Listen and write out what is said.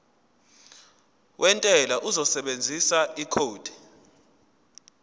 wentela uzosebenzisa ikhodi